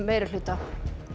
meirihluta